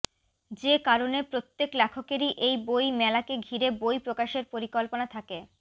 যে কারণে প্রত্যেক লেখকেরই এই বই মেলাকে ঘিরে বই প্রকাশের পরিকল্পনা থাকে